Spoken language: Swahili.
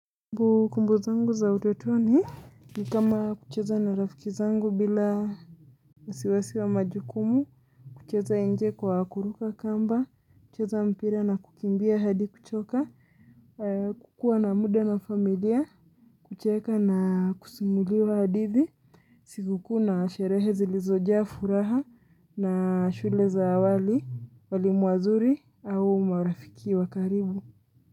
Kumbukumbu zangu za utotoni ni kama kucheza na rafiki zangu bila wasiwasi wa majukumu, kucheza nje kwa kuruka kamba, kucheza mpira na kukimbia hadi kuchoka, kuwa na muda na familia, kucheka na kusimuliwa hadithi, sikukuu na sherehe zilizojaa furaha na shule za awali, walimu wazuri au marafiki wakarimu.